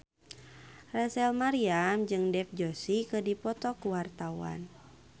Rachel Maryam jeung Dev Joshi keur dipoto ku wartawan